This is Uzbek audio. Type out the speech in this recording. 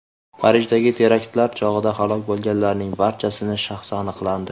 Parijdagi teraktlar chog‘ida halok bo‘lganlarning barchasini shaxsi aniqlandi .